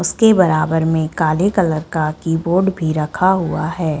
उसके बराबर में काले कलर का किबोर्ड भी रखा हुआ हैं।